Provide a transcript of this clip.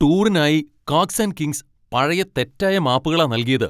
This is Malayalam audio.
ടൂറിനായി കോക്സ് ആൻഡ് കിംഗ്സ് പഴയ, തെറ്റായ മാപ്പുകളാ നൽകിയത്.